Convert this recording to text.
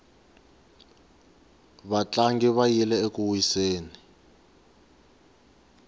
vatlangi va yile eku wiseni